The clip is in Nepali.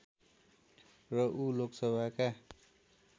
र ऊ लोकसभाका